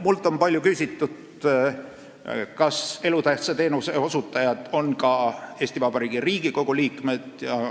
Minult on palju küsitud, kas elutähtsa teenuse osutajad on ka Eesti Vabariigi Riigikogu liikmed.